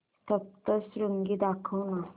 सप्तशृंगी दाखव ना